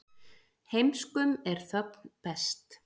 Heimskum er þögn best.